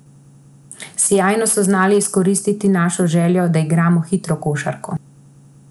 Sijajno so znali izkoristiti našo željo, da igramo hitro košarko.